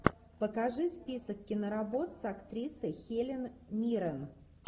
покажи список киноработ с актрисой хелен миррен